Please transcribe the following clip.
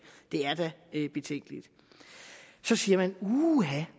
det er da betænkeligt så siger man uha